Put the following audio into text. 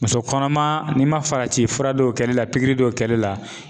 Muso kɔnɔma n'i ma farati fura dɔw kɛli la pikiri dɔw kɛli la